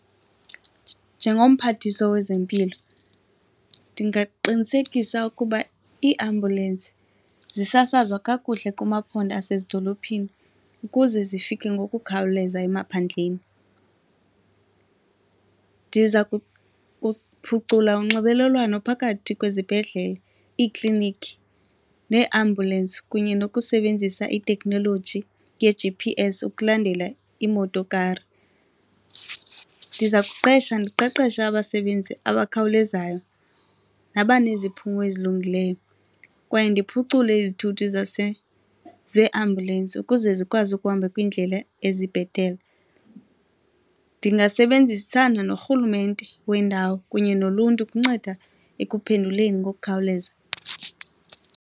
Njengomphathiswa wezempilo ndingaqinisekisa ukuba iiambulensi zisasazwa kakuhle kumaphondo asezidolophini ukuze zifike ngokukhawuleza emaphandleni. Ndiza kuphucula unxibelelwano phakathi kwezibhedlele, iiklinikhi nee-ambulence kunye nokusebenzisa itekhnoloji nge-G_P_S ukulandela imoto kari. Ndiza kuqesha ndiqeqeshe abasebenzi abakhawulezayo nabaneziphumo ezilungileyo kwaye ndiphucule izithuthi zeeambulensi ukuze zikwazi ukuhamba kwiindlela ezibhetele. Ndingasebenzisana norhulumente wendawo kunye noluntu kunceda ekuphenduleni ngokukhawuleza.